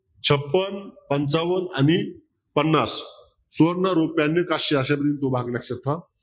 छपन्न पंचावन्न आणि पन्नास सुवर्ण आणि काश्य असे दोन भाग लक्षात ठेवा